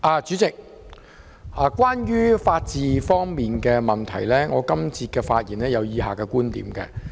主席，關於法治方面的問題，我想在本節發言表達以下觀點。